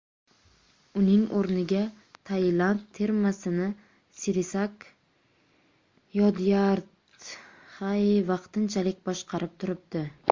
Uning o‘rniga Tailand termasini Sirisak Yodyardtxai vaqtinchalik boshqarib turibdi.